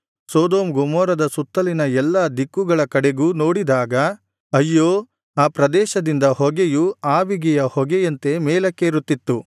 Sodom ಗೊಮೋರದ ಸುತ್ತಲಿನ ಎಲ್ಲಾ ದಿಕ್ಕುಗಳ ಕಡೆಗೂ ನೋಡಿದಾಗ ಅಯ್ಯೋ ಆ ಪ್ರದೇಶದಿಂದ ಹೊಗೆಯು ಆವಿಗೆಯ ಹೊಗೆಯಂತೆ ಮೇಲಕ್ಕೇರುತ್ತಿತ್ತು